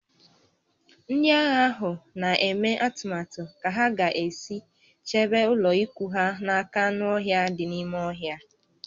Ndị agha ahụ na-eme atụmatụ ka ha ga-esi chebe ụlọikwuu ha n'aka anụ ọhịa dị n'ime ọhịa